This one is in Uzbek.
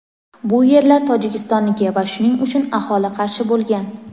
Bu yerlar Tojikistonniki va shuning uchun aholi qarshi bo‘lgan.